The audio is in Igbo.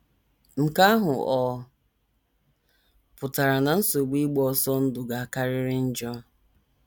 Nke ahụ ọ̀ pụtara na nsogbu ịgba ọsọ ndụ ga - akarịrị njọ?